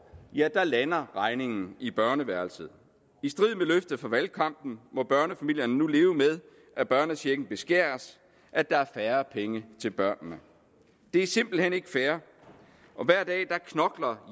lander regningen i børneværelset i strid fra valgkampen må børnefamilierne nu leve med at børnechecken beskæres at der er færre penge til børnene det er simpelt hen ikke fair hver dag knokler